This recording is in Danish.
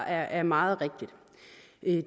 er er meget rigtigt